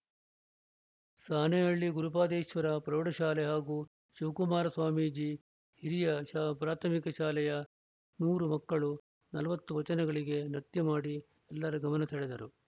ಸಾಣೇಹಳ್ಳಿ ಗುರುಪಾದೇಶ್ವರ ಪ್ರೌಢ ಶಾಲೆ ಹಾಗೂ ಶಿವಕುಮಾರ ಸ್ವಾಮೀಜಿ ಹಿರಿಯ ಪ್ರಾಥಮಿಕ ಶಾಲೆಯ ನೂರು ಮಕ್ಕಳು ನಲವತ್ತು ವಚನಗಳಿಗೆ ನೃತ್ಯ ಮಾಡಿ ಎಲ್ಲರ ಗಮನ ಸೆಳೆದರು